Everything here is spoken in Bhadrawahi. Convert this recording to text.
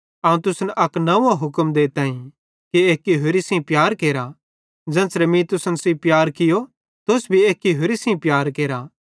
अवं तुसन अक नंव्वो हुक्म देताईं कि एक्की होरि सेइं प्यार केरा ज़ेन्च़रे मीं तुसन सेइं प्यार कियो तुस भी एक्के होरि सेइं प्यार केरा